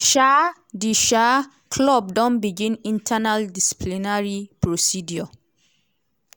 um di um club don begin internal disciplinary procedure.